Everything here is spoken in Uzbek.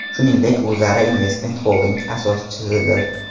Shuningdek, u Zara Investment Holding asoschisidir.